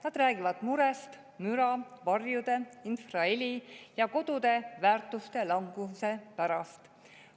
Nad räägivad murest müra, varjude, infraheli ja kodude väärtuse languse pärast.